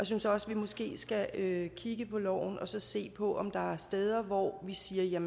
synes også vi måske skal kigge på loven og se på om der er steder hvor vi siger